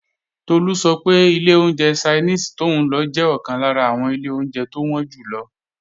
Tolú sọ pé ilé oúnjẹ Ṣainíìsì tóún lọ jẹ́ ọ̀kan lára àwọn ilé oúnjẹ tó wọ́n jù lọ